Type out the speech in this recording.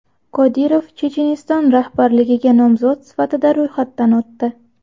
Qodirov Checheniston rahbarligiga nomzod sifatida ro‘yxatdan o‘tdi.